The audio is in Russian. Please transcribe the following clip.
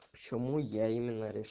почему я ем